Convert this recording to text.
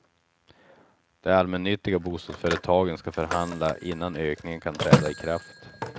De allmännyttiga bostadsföretagen ska förhandla innan ökningen kan träda i kraft.